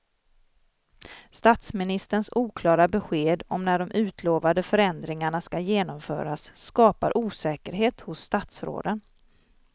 Statsministerns oklara besked om när de utlovade förändringarna ska genomföras skapar osäkerhet hos statsråden.